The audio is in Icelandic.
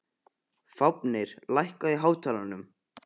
Fáfnir, lækkaðu í hátalaranum.